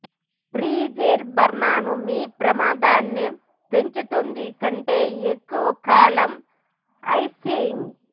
freezer burn మీ ప్రమాదాన్ని పెంచుతుంది కంటే ఎక్కువ కాలం ఐసింగ్